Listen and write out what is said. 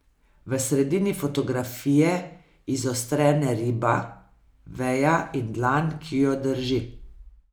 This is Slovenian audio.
V sredini fotografije izostrene riba, veja in dlan, ki jo drži.